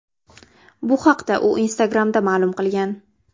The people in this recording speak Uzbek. Bu haqda u Instagram’da ma’lum qilgan.